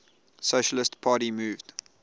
socialist party moved